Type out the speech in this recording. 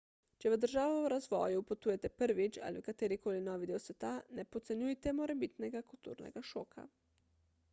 če v državo v razvoju potujete prvič – ali v katerikoli novi del sveta – ne podcenjujte morebitnega kulturnega šoka